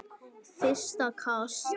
Fyrsta kast